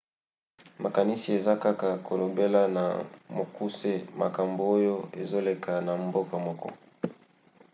makanisi eza kaka kolobela na mokuse makambo oyo ezoleka na mboka moko